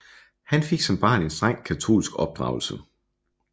Han fik som barn en strengt katolsk opdragelse